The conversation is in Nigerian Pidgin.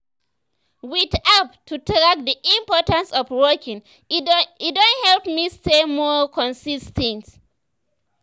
with app to track the importance of walking e don help me stay more consis ten t.